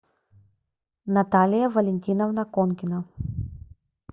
наталия валентиновна конкина